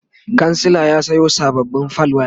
kansila ya Sayo sababbin fal waya